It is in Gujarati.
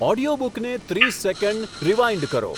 ઓડિયોબુકને ત્રીસ સેકંડ રીવાઈન્ડ કરો